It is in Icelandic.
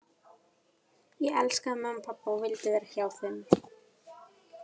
Ég elskaði mömmu og pabba og vildi vera hjá þeim.